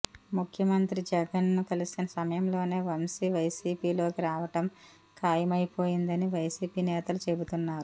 ముఖ్యమంత్రి జగన్ ను కలిసిన సమయంలోనే వంశీ వైసీపీలోకి రావటం ఖాయమైపోయిందని వైసీపీ నేతలు చెబుతున్నారు